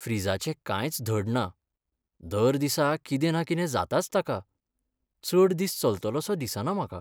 फ्रिजाचें कांयच धड ना, दर दिसा कितें ना कितें जाताच ताका, चड दीस चलतसो दिसना म्हाका.